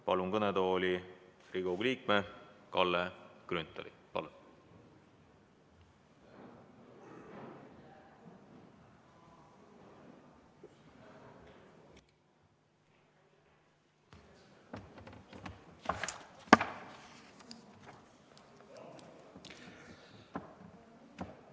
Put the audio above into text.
Palun kõnetooli Riigikogu liikme Kalle Grünthali!